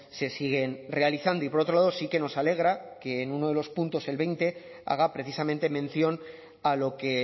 se siguen realizando y por otro lado sí que nos alegra que en uno de los puntos el veinte haga precisamente mención a lo que